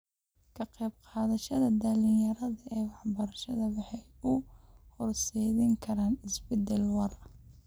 Ka qayb qaadashada dhalinyarada ee waxbarashada waxay u horseedi kartaa isbedel waara.